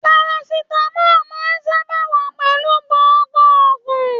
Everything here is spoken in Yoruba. Parasitamọ máa n sábà wà pẹlú gbogbo ògùn.